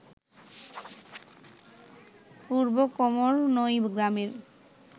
পূর্ব কোমরনই গ্রামের